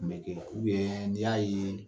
Tun bɛ kɛ n'i y'a ye